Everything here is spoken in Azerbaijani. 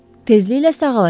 Tezliklə sağalacaq.